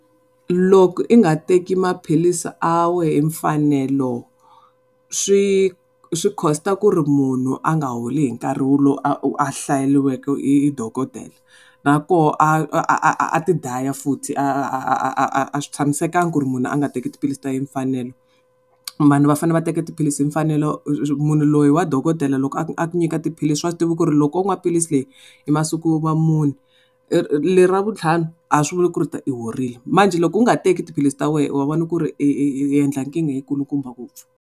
Loko u nga teka maphilisi a wena hi mfanelo swi swi cost-a ku ri munhu a nga holi hi nkarhi lowu a a hlayeriweke hi dokodela na koho a a ti dlaya futhi. A swi tshamisekanga ku ri munhu a nga teki tiphilisi ta yehe hi mfanelo. Vanhu va fane va teka tiphilisi hi mfanelo, munhu loyi wa dokodela loko a nyika tiphilisi wa swi tiva ku ri loko wo nwa philisi leyi hi masiku ya mune leri ra vuntlhanu a swi vuli ku u horile manjhe loko u nga teki tiphilis ta wena wa wona ku ri u endla nkingha yi kulukumba ngopfu.